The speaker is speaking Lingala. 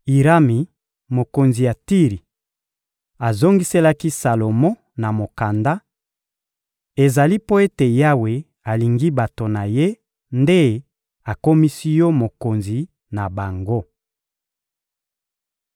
Irami, mokonzi ya Tiri, azongiselaki Salomo na mokanda: — Ezali mpo ete Yawe alingi bato na Ye nde akomisi yo mokonzi na bango.